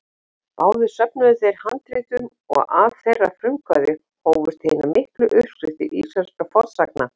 Báðir söfnuðu þeir handritum og af þeirra frumkvæði hófust hinar miklu uppskriftir íslenskra fornsagna.